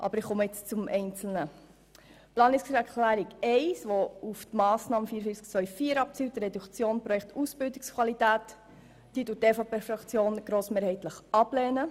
Zu den einzelnen Ziffern: Die Planungserklärung 1, die auf die Massnahme 44.2.4 abzielt und bei der es um die Reduktion des Beitrags an das Projekt Ausbildungsqualität geht, lehnt die EVP-Fraktion grossmehrheitlich ab.